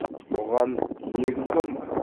бұған негіз бар ма